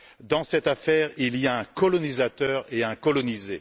Dans cette affaire, il y a un colonisateur et un colonisé.